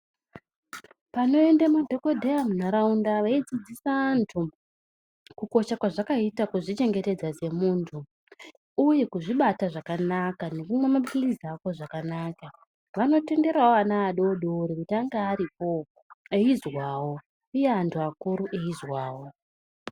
Panoende madhogodheya munharaunda veidzidzisa antu kukosha kwazvakaita kuzvichengetedza semuntu, uye kuzvibata zvakanaka nekunwa maphirizi ako zvakanaka anotenderavo ana adodori kuti anonga aripovo eizwavo, uye antu akuru eizwavo.